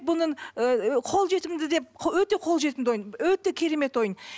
бұның ы қол жетімді деп өте қол жетімді ойын өте керемет ойын